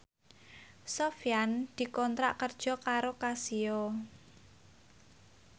Sofyan dikontrak kerja karo Casio